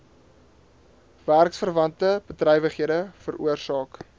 werksverwante bedrywighede veroorsaak